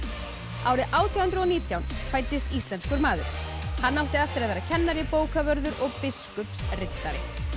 árið átján hundruð og nítján fæddist íslenskur maður hann átti eftir að vera kennari bókavörður og biskupsritari